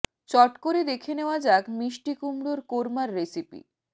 চট করে দেখে নেওয়া যাক মিষ্টি কুমড়োর কোর্মার রেসিপি